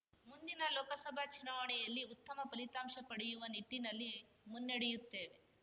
ಮುಂದಿನ ಲೋಕಸಭಾ ಚುನಾವಣೆಯಲ್ಲಿ ಉತ್ತಮ ಫಲಿತಾಂಶ ಪಡೆಯುವ ನಿಟ್ಟಿನಲ್ಲಿ ಮುನ್ನಡೆಯುತ್ತೇವೆ